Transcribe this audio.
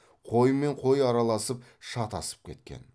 қоймен қой араласып шатасып кеткен